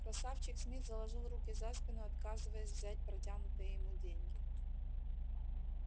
красавчик смит заложил руки за спину отказываясь взять протянутые ему деньги